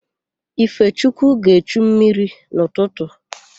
Ifechukwu ga-echu mmiri n'ụtụtụ.